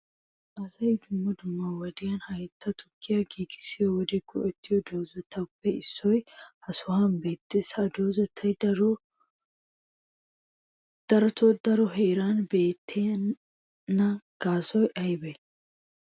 Asay dumma dumma wodiyan haytta tukkiya giigissiyo wode go"ettiyo doozatuppe issoy ha sohuwan beettees. Ha doozay darotoo daro heeran beettema gaasoy aybbe?